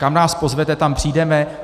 Kam nás pozvete, tam přijdeme.